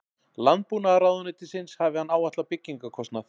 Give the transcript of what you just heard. Landbúnaðarráðuneytisins hafi hann áætlað byggingarkostnað